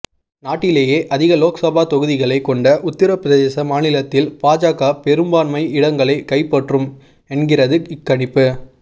நாட்டிலேயே அதிக லோக்சபா தொகுதிகளைக் கொண்ட உத்தரப்பிரதேச மாநிலத்தில் பாஜக பெரும்பான்மை இடங்களைக் கைப்பற்றும் என்கிறது இக்கணிப்பு